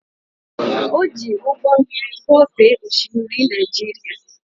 Ọ jị ụgbọ mmiri kwọfee oshimiri Naija.